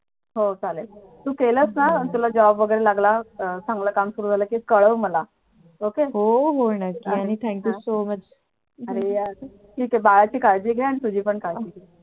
हो चालेल तू केलेस ना तुला job वैगेरे लागला चांगला काम सुरु झालं तर कळवं मला हो हो नक्की आणि thank you so much आणि बाळालाही काळजी घे आणि तुझी पण काळजी घे